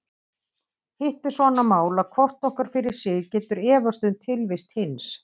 Hitt er svo annað mál að hvort okkar fyrir sig getur efast um tilvist hins.